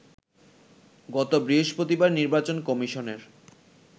গত বৃহস্পতিবার নির্বাচন কমিশনের